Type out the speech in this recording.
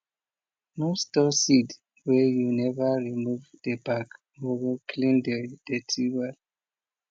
no store seed weh you never remove the back or clean the dirty wel